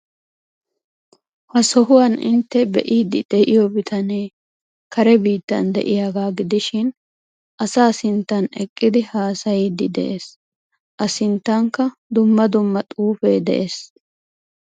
Ha sohuwan intte be'iiddi de'iyo bitanee kare biittan de'iyagaa gidishin asaa sintan eqqidi haasayiiddi de'ees. A sinttankka dumma dumma xuufee de'ees.